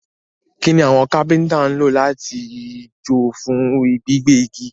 Kíni àwon Kápẹ́ńtà n lo làtijọ́ fún gbígbẹ́ igi?